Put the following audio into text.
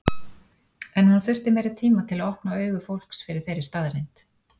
En hún þurfti meiri tíma til að opna augu fólks fyrir þeirri staðreynd.